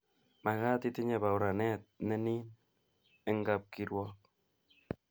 makat itinyei bauranet ne niin eng kapkirwok